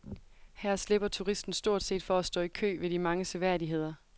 Her slipper turisten stort set for at stå i kø ved de mange seværdigheder.